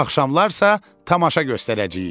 Axşamlar isə tamaşa göstərəcəyik.